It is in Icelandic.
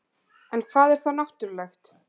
en hvað er þá náttúrulegt